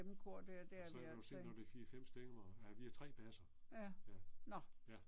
Og så kan du se når det er 4 5 stemmer ja vi er 3 basser. Ja. Ja